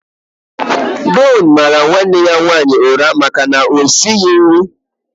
Deon mara nwanne ya nwaanyị ụra maka na o esighị nri.